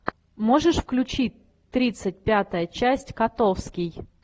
можешь включить тридцать пятая часть котовский